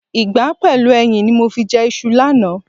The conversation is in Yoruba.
Ìgbá pẹ̀lú ẹyin ni mo fi jẹ iṣu lánàá.